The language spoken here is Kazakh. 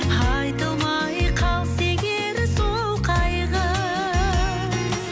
айтылмай қалса егер сол қайғы